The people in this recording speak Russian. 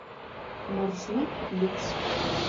маршрут люкс